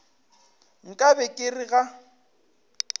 nka be ke re ga